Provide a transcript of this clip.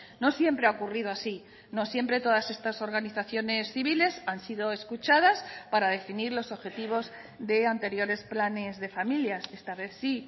no siempre ha ocurrido así no siempre todas estas organizaciones civiles han sido escuchadas para definir los objetivos de anteriores planes de familias esta vez sí